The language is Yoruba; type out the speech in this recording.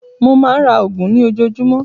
Mó máa ń ra oògùn ní ojoojúmọ́.